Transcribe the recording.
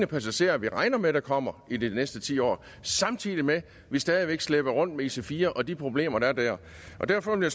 passagerer vi regner med der kommer i de næste ti år samtidig med at vi stadig væk slæber rundt med ic4 og de problemer der er der derfor vil